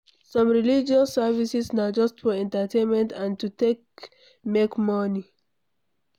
Some religious services na just for entertainment and to take make moni